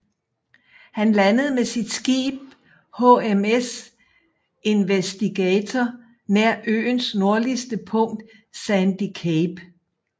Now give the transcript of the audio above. Han landede med sit skib HMS Investigator nær øens nordligste punkt Sandy Cape